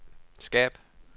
skab